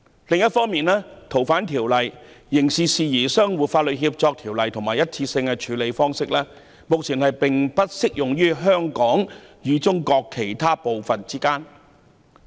另一方面，目前《逃犯條例》、《刑事事宜相互法律協助條例》及單一個案方式移交安排，並不適用於香港與中國其他部分。